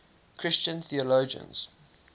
christian theologians